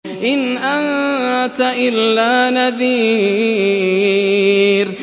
إِنْ أَنتَ إِلَّا نَذِيرٌ